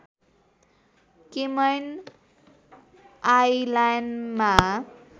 Cayman आइलैन्डमा